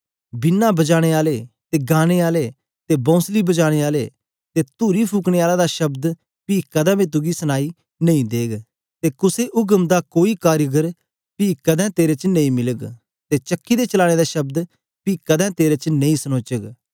वीणा बजाने आले ते गाने आलें ते बोंसली बजाने आलें ते तुरी फुकने आलें दा शब्द पी कदें बी तुगी सनाई नेई देग ते कुसे उघम दा कोई कारीगर बी पी कदें तेरे च नेई मिलग ते चक्की दे चलाने दा शब्द पी कदें तेरे च नेई सनोचग